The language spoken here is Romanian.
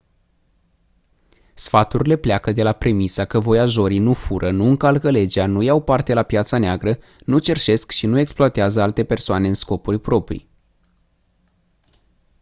sfaturile pleacă de la premisa că voiajorii nu fură nu încalcă legea nu iau parte la piața neagră nu cerșesc și nu exploatează alte persoane în scopuri proprii